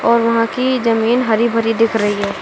और वहां की जमीन हरी भरी दिख रही है।